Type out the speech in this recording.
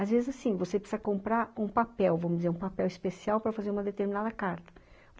Às vezes, assim, você precisa comprar um papel, vamos dizer, um papel especial para fazer uma determinada carta.